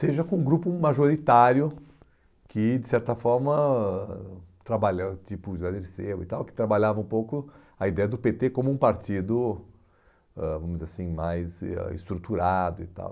seja com um grupo majoritário que, de certa forma, trabalhou, tipo o José Dirceu e tal, que trabalhava um pouco a ideia do pê tê como um partido ãh, vamos dizer assim, mais ah estruturado e tal.